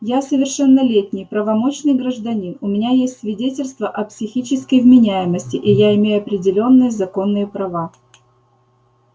я совершеннолетний правомочный гражданин у меня есть свидетельство о психической вменяемости и я имею определённые законные права